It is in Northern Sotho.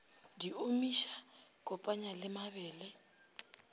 di omiša kopanya le mabele